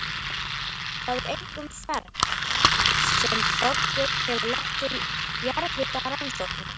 Það er einkum fernt sem Þorbjörn hefur lagt til jarðhitarannsókna.